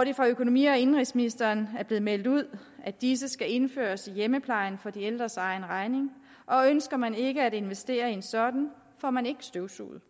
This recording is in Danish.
er det af økonomi og indenrigsministeren blevet meldt ud at disse skal indføres i hjemmeplejen for de ældres egen regning og ønsker man ikke at investere i en sådan får man ikke støvsuget